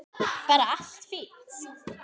Bara allt fínt.